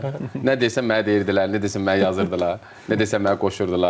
Nə desən mənə deyirdilər, nə desən mənə yazırdılar, nə desən mənə qoşurdular.